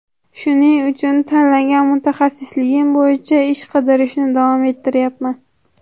Shuning uchun tanlagan mutaxassisligim bo‘yicha ish qidirishni davom ettirayapman”.